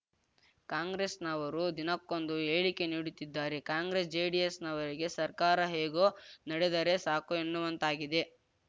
ಕಾಂಗ್ರೆಸ್‌ನವರು ದಿನಕ್ಕೊಂದು ಹೇಳಿಕೆ ನೀಡುತ್ತಿದ್ದಾರೆ ಕಾಂಗ್ರೆಸ್‌ ಜೆಡಿಎಸ್‌ನವರಿಗೆ ಸರ್ಕಾರ ಹೇಗೋ ನಡೆದರೆ ಸಾಕು ಎನ್ನುವಂತಾಗಿದೆ